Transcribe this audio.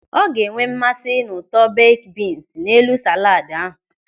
Ọ ga-enwe mmasị n'ụtọ beik bins n'elu sálàd ahụ.